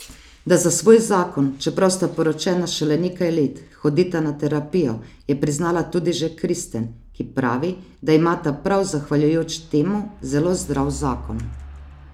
Da za svoj zakon, čeprav sta poročena šele nekaj let, hodita na terapijo, je priznala tudi že Kristen, ki pravi, da imata prav zahvaljujoč temu zelo zdrav zakon.